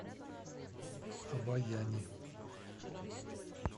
обояни